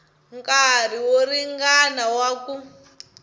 nkarhi wo ringana wa ku